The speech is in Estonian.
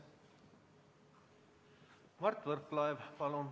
Mart Võrklaev, palun!